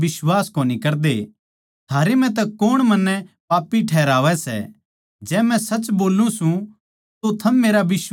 थारै म्ह तै कौण मन्नै पापी ठैहरावै सै जै मै सच बोल्लू सूं तो थम मेरा बिश्वास क्यांतै न्ही करदे